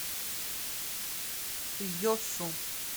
йосу